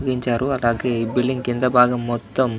నిర్మించారు. అలాగే ఈ బిల్డింగ్ కింద భాగం మొత్తం --